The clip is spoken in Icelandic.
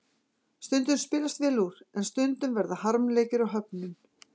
Stundum spilast vel úr, en stundum verða harmleikir og höfnun.